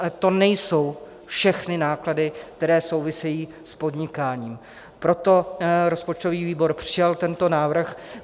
Ale to nejsou všechny náklady, které souvisejí s podnikáním, proto rozpočtový výbor přijal tento návrh.